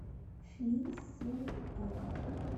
шлиссельбург